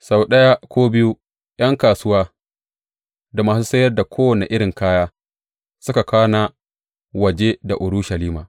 Sau ɗaya ko biyu, ’yan kasuwa da masu sayar da kowane irin kaya suka kwana waje da Urushalima.